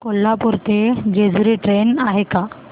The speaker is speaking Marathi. कोल्हापूर ते जेजुरी ट्रेन आहे का